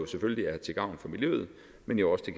selvfølgelig er til gavn for miljøet men jo også